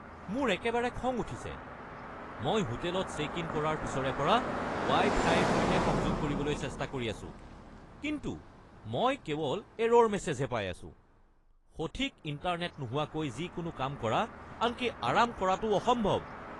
মোৰ একেবাৰে খং উঠিছে! মই হোটেলত চে'ক ইন কৰাৰ পিছৰে পৰা ৱাই-ফাইৰ সৈতে সংযোগ কৰিবলৈ চেষ্টা কৰি আছো, কিন্তু মই কেৱল এৰ'ৰ মেছেজ হে পাই আছো। সঠিক ইণ্টাৰনেট নোহোৱাকৈ যিকোনো কাম কৰা, আনকি আৰাম কৰাটোও অসম্ভৱ।